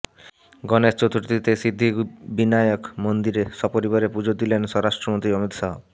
গণেশ চতুর্থীতে সিদ্ধি বিনায়ক মন্দিরে সপরিবারে পুজো দিলেন স্বরাষ্ট্রমন্ত্রী অমিত শাহ